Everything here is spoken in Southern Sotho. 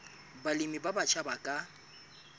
balemi ba batjha ba ka